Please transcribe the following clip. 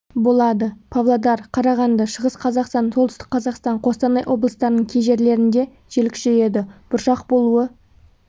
болады павлодар қарағанды шығыс қазақстан солтүстік қазақстан қостанай облыстарының кей жерлерінде жел күшейеді бұршақ болуы